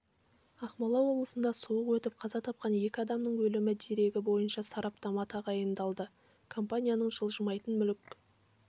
ақмола облысында суық өтіп қаза тапқан екі адамның өлімі дерегі бойынша сараптама тағайындалды компанияның жылжымайтын мүлік